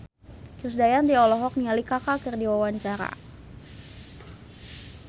Krisdayanti olohok ningali Kaka keur diwawancara